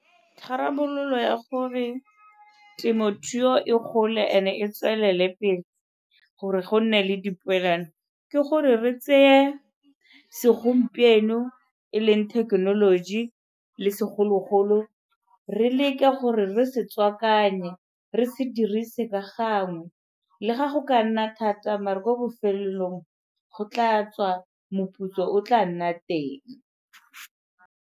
Tharabololo ya gore temothuo e gole and-e e tswelele pele gore go nne le dipoelano, ke gore re tseye segompieno e leng thekenoloji le segologolo re leke gore re se tswakanye, re se dirise ka gangwe le ga go ka nna thata mara ko bofelelong go tla tswa, moputso o tla nna teng.